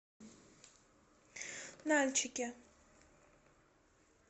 нальчике